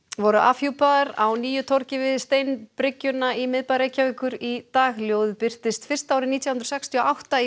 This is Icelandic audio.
voru afhjúpaðar á nýju torgi við steinbryggjuna í miðbæ Reykjavíkur í dag ljóðið birtist fyrst árið nítján hundruð sextíu og átta í